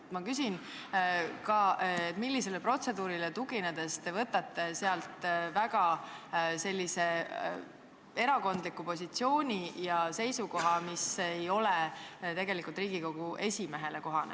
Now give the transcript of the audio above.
Aga ma küsin ka, millisele protseduurireeglile tuginedes te võtate väga erakondliku positsiooni, mis ei ole tegelikult Riigikogu esimehele kohane.